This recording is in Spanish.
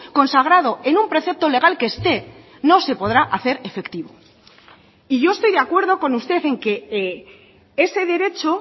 consagrado en un precepto legal que esté no se podrá hacer efectivo y yo estoy de acuerdo con usted en que ese derecho